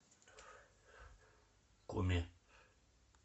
куми